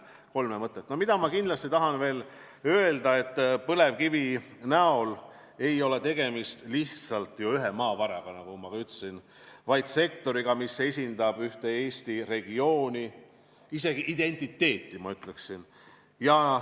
Ma tahan kindlasti veel öelda, et põlevkivi ei ole lihtsalt üks maavara, vaid see on sektor, mis esindab ühte Eesti regiooni, isegi selle identiteeti, ma ütleksin.